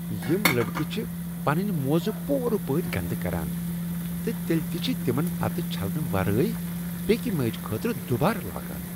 یم لڑکہٕ چھ پنٕنۍ موزٕ پورٕ پٲٹھۍ گندٕ کران تہٕ تیلِہ تِہ چھ تِمن پتہٕ چھلنہٕ ورٲے بیکِہ میچہ خٲطرٕ دوبارٕ لاگان۔